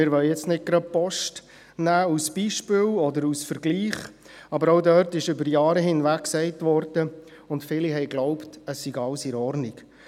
Wir wollen jetzt nicht die Post als Beispiel oder Vergleich nehmen, aber auch dort wurde über Jahre hinweg gesagt – und viele glaubten dies –, es sei alles in Ordnung.